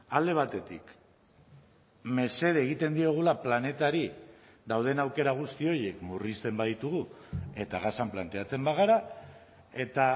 alde batetik mesede egiten diogula planetari dauden aukera guzti horiek murrizten baditugu eta gasan planteatzen bagara eta